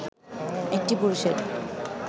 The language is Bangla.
একটি পুরুষের